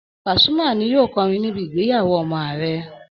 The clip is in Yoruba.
Pasuma ni yóò kọrin níbi ìgbéyàwó ọmọ àrẹ